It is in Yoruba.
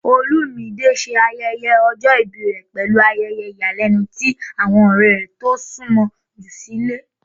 Olumide ṣe ayẹyẹ ọjọ ibi rẹ pẹlu ayẹyẹ iyalẹnu ti awọn ọrẹ to sunmọ ju silẹ.